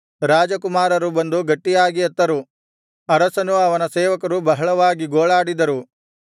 ರಾಜಕುಮಾರರು ಬಂದು ಗಟ್ಟಿಯಾಗಿ ಅತ್ತರು ಅರಸನೂ ಅವನ ಸೇವಕರೂ ಬಹಳವಾಗಿ ಗೋಳಾಡಿದರು